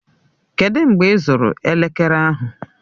Kedụ mgbe ịzụrụ elekere ahụ?